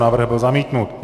Návrh byl zamítnut.